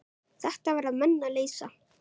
Þetta verða menn að leysa.